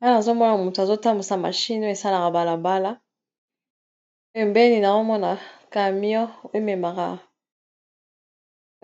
Awa nazomona moto azotambusa mashine o esalaka balabala pembeni na omona camion o